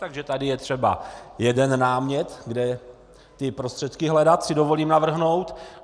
Takže tady je třeba jeden námět, kde ty prostředky hledat, si dovolím navrhnout.